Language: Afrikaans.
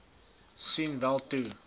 sien wel toe